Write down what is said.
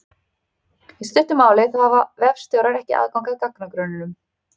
Í stuttu máli þá hafa vefstjórar ekki aðgang að gagnagrunninum.